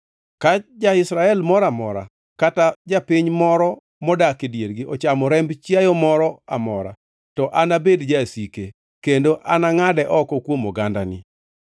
“ ‘Ka ja-Israel moro amora kata japiny moro modak e diergi ochamo remb chiayo moro amora to anabed jasike, kendo anangʼade oko kuom ogandani.